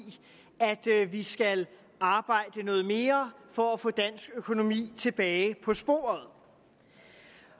at vi skal arbejde noget mere for at få dansk økonomi tilbage på sporet